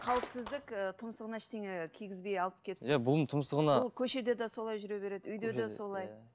қауіпсіздік ііі тұмсығына ештеңе кигібей алып келіпсіз иә бұның тұмсығына бұл көшеде де солай жүре береді үйде де солай